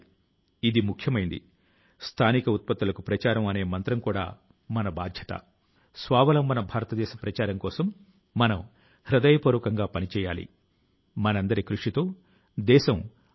ఈ సంకల్పం తో రాబోయే సంవత్సరం లో దేశం ముందుకు సాగుతుందని 2022వ సంవత్సరం ఒక నవ భారతదేశం నిర్మాణాని కి బంగారు పుట అవుతుందని నాకు పూర్తి భరోసా ఉంది